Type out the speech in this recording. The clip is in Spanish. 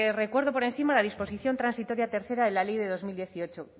recuerdo por encima la disposición transitoria tercera de la ley de dos mil dieciocho